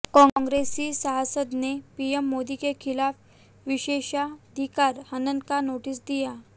कांग्रेसी सांसद ने पीएम मोदी के खिलाफ विशेषाधिकार हनन का नोटिस दिया